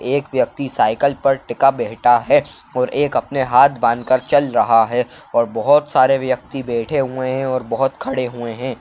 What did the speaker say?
एक व्यक्ति साइकिल पर टिका बैहठा है और एक अपने हाथ बांधकर चल रहा है। और बोहोत सारे व्यक्ति बैठे हुए हैं और बोहोत खड़े हुए हैं।